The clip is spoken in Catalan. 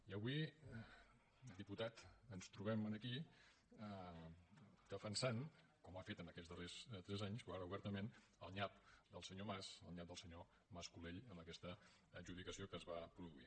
i avui diputat ens trobem aquí defensant com ho ha fet en aquests darrers tres anys però ara obertament el nyap del senyor mas el nyap del senyor mas colell en aquesta adjudicació que es va produir